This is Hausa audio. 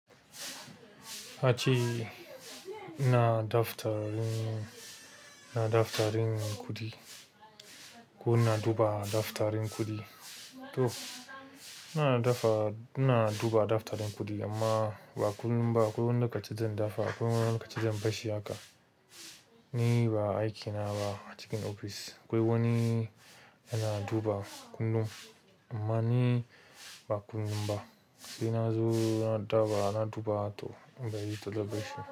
A ci ina daftarin, ina daftarin kuɗi ko ina duba daftarin kuɗi to ina dafa ina duba daftarin kuɗi amma ba kullum ba. Akwai wani lokaci zandafa akwai wani lokaci zan bashi haka. Ni ba aiki na ba a cikin ofis. Akwai wani yana duba kullum amma ni ba kullum ba. Sai na zo naɗaba na duba to in bari celebration.